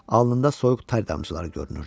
Alnından soyuq tər damcıları görünürdü.